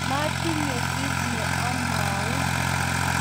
matinye kiit ne amwaun